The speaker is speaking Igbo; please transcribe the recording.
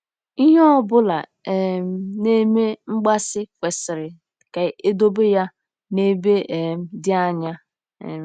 Ihe ọ bụla um na-eme mgbaasị kwesịrị ka edobe ya n'ebe um dị anya. um